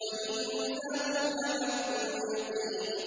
وَإِنَّهُ لَحَقُّ الْيَقِينِ